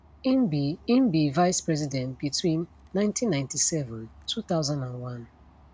im be im be vice president between 1997 2001